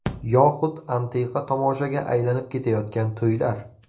Yoxud antiqa tomoshaga aylanib ketayotgan to‘ylar.